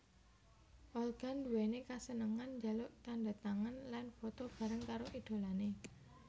Olga nduwéni kasenengan njaluk tandhatangan lan foto bareng karo idholané